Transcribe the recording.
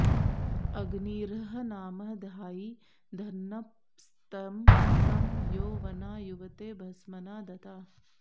अग्निर्ह नाम धायि दन्नपस्तमः सं यो वना युवते भस्मना दता